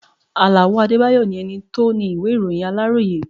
Àlàó Adédayọ̀ ni ẹni tó ni ìwé ìròyìn Aláròyé.